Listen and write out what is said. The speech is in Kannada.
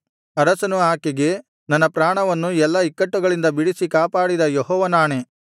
ಅರಸನು ಆಕೆಗೆ ನನ್ನ ಪ್ರಾಣವನ್ನು ಎಲ್ಲಾ ಇಕ್ಕಟ್ಟುಗಳಿಂದ ಬಿಡಿಸಿ ಕಾಪಾಡಿದ ಯೆಹೋವನಾಣೆ